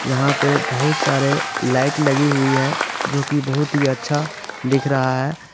यहां पे बहुत सारे लाइट लगी हुई है जो कि बहुत ही अच्छा दिख रहा है।